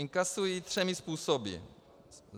Inkasují třemi způsoby.